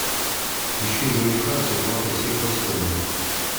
ищу жениха с оплатой всех расходов